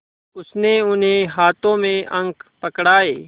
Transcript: उसने उन्हें हाथों में अंक पकड़ाए